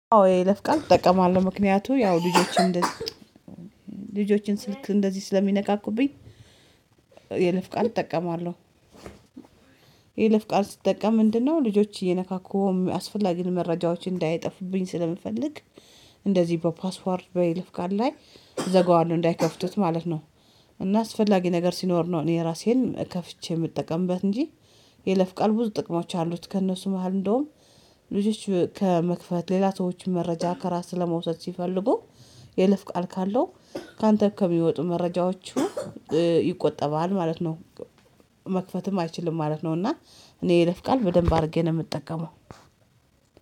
አዎ የለፍቃል እጠቀማለሁ ምክንያቱ ያው ልጆችን ልጆችን ስልክ እንደዚህ ስለሚነካኩብኝ የይለፍ ቃል እጠቀማለሁ። የለፍ ቃል ስጠቀም ምንድነው ልጆች እየነካኩ አስፈላጊ መረጃዎች እንዳይጠፉብኝ ስለምፈልግ። እንደዚህ በፓስዎርድ በይልፍ ጋር ላይ እዘጋዋለሁ እንዳይከፍቱት ማለት ነው። እና አስፈላጊ ነገር ሲኖር ነው እኔ ራሴን ከፍቼ የምጠቀምበት እንጂ። የለፍ ቃል ብዙ ጥቅሞች አሉት ከእነሱ መሃል እንደውም ልጆች ከመክፈት ሌላ ሰዎች መረጃ ከራስ ለመውሰድ ሲፈልጉ የለፍ ቃል ካለው ካንተ ከሚወጡ መረጃዎቹ ይቆጠባል ማለት ነው። መክፈትም አይችልም ማለት ነው። እና እኔ ይለፍቃል በደንብ አድርጌ ነው የምጠቀመው።